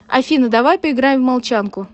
афина давай поиграем в молчанку